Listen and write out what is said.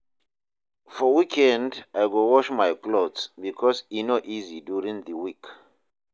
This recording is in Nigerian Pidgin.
For weekend, I go wash my clothes because e no easy during the week.